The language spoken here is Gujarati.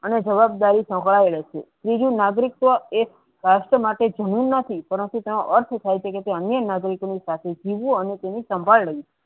અને જવાબદારી સંક્રાયેલ છે નીજુ નાગરિકો એ રાષ્ટ્ર માટે જમીન નથી અન્ય નાગરિકો ની સાથે જીવુ અને તેને સંભાળ લઇ.